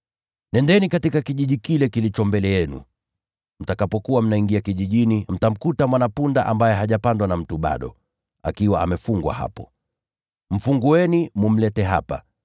“Nendeni katika kijiji kilichoko mbele yenu. Na mtakapokuwa mnaingia kijijini, mtamkuta mwana-punda amefungwa hapo, ambaye hajapandwa na mtu bado. Mfungueni, mkamlete hapa.